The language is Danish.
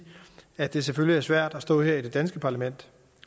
at det selvfølgelig er svært at stå her i det danske parlament